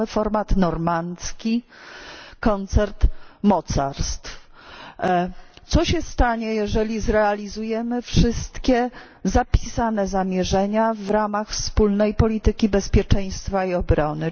Mamy format normandzki, koncert mocarstw. Co się stanie, jeśli zrealizujemy wszystkie zapisane zamierzenia w ramach wspólnej polityki bezpieczeństwa i obrony?